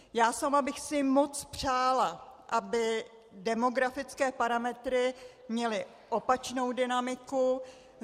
Já sama bych si moc přála, aby demografické parametry měly opačnou dynamiku.